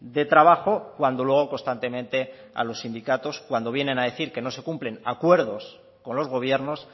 de trabajo cuando luego constantemente a los sindicatos cuando vienen a decir que no se cumplen acuerdos con los gobiernos